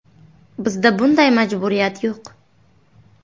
Bizda bunday majburiyat yo‘q.